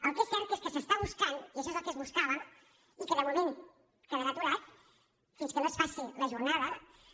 el que és cert és que s’està buscant i això és el que es buscava i que de moment quedarà aturat fins que no es faci la jornada